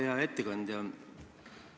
Hea ettekandja!